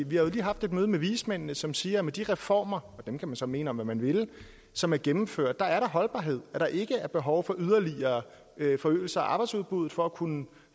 jo lige haft et møde med vismændene som siger at med de reformer og dem kan man så mene om hvad man vil som er gennemført er der holdbarhed og at der ikke er behov for yderligere forøgelse af arbejdsudbuddet for at kunne